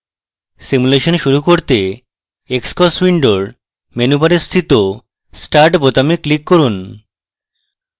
simulation শুরু করতে xcos window menu bar স্থিত start বোতামে click করুন